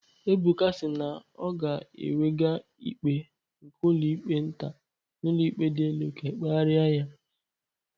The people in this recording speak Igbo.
Ebuka si na ọ ga-ewega ikpe nke ụlọikpe nta n'ụlọikpe dị elu ka ekpegharị ya